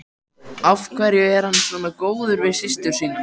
En af hverju er hann svona góður við systur sína?